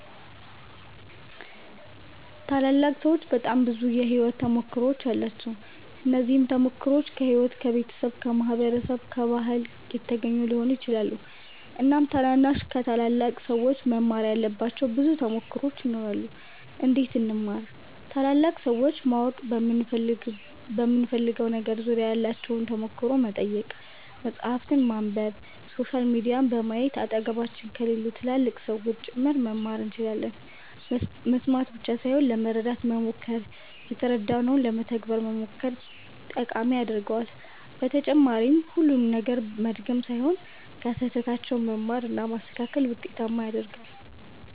ታላላቅ ሠዎች በጣም ብዙ የሕይወት ተሞክሮዎች አሏቸው። እነዚህም ተሞክሮዎች ከሕይወት፣ ከቤተሰብ፣ ከማህበረሰብ፣ ከባህል የተገኙ ሊሆኑ ይችላሉ። እናም ታናናሾች ከታላላቅ ሠዎች መማር ያለባቸው ብዙ ተሞክሮዎች ይኖራሉ። እንዴት እንማር ?ታላላቅ ሠዎችን ማወቅ በምንፈልገው ነገር ዙሪያ ያላቸውን ተሞክሮ መጠየቅ፣ መፃህፍትን ማንበብ፣ ሶሻል ሚዲያዎችን በማየት አጠገባችን ከሌሉ ትላልቅ ሠዎችም ጭምር መማር እንችላለን መስማት ብቻ ሣይሆን ለመረዳት መሞከር የተረዳነውን ለመተግበር መሞከር ጠቃሚ ያደርገዋል በተጨማሪም ሁሉንም ነገር መድገም ሣይሆን ከሥህተታቸውም መማር እና ማስተካከል ውጤታማ ያደርጋል።